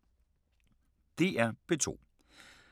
DR P2